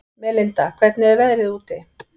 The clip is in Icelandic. Melinda, hvernig er veðrið úti?